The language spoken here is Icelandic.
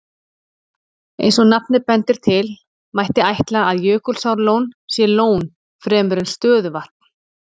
Eins og nafnið bendir til, mætti ætla að Jökulsárlón sé lón fremur en stöðuvatn.